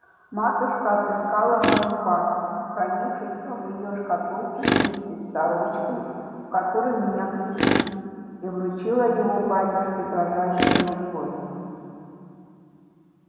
матушка отыскала мой паспорт хранившийся в её шкатулке вместе с сорочкою которой меня крестили и вручила его батюшке дрожащею рукою